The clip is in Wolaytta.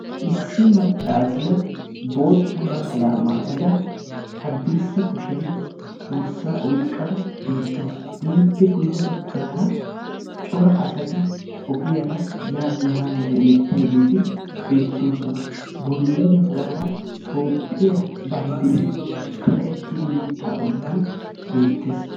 Issi maccassiya bootta naxalaa maayyada haddirssa kushiyaan borssa oyqqada beettaawus; ippe guyye baggara cora asati ogiyaara yaanne haanne hemetiyaageti beettoosona; bolla bagara Toophiyaa banddiray kaqqettidaage beettees.